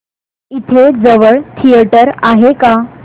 इथे जवळ थिएटर आहे का